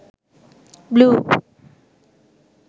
blue